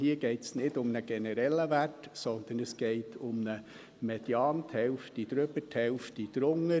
Hier geht es nicht um einen generellen Wert, sondern es geht um einen Median: die Hälfte darüber, die Hälfte darunter.